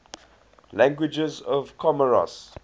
languages of comoros